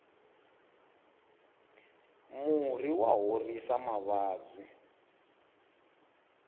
murhi wa horisa mavabyi